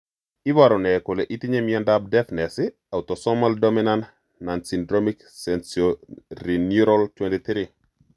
Iporu ne kole itinye miondap Deafness, autosomal dominant nonsyndromic sensorineural 23?